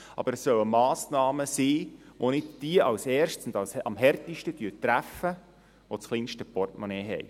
Aber es sollen Massnahmen sein, die nicht diejenigen zuerst und am härtesten treffen, die das kleinste Portemonnaie haben.